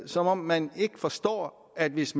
som om man ikke forstår at hvis